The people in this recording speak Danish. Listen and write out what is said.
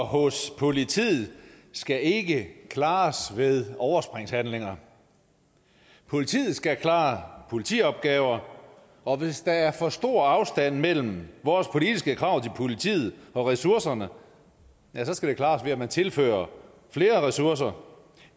hos politiet skal ikke klares ved overspringshandlinger politiet skal klare politiopgaver og hvis der er for stor afstand mellem vores politiske krav til politiet og ressourcerne skal det klares ved at man tilfører flere ressourcer